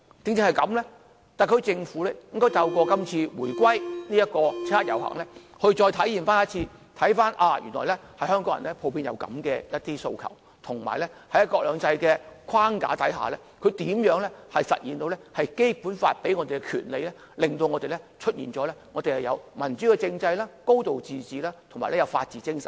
正因如此，特區政府應透過這次七一遊行，再次重溫原來香港人普遍有這樣的訴求，以及大家如何在"一國兩制"的框架下行使《基本法》所賦予的權利，以實現民主政制、"高度自治"及法治精神。